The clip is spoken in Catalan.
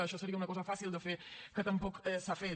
això seria una cosa fàcil de fer que tampoc s’ha fet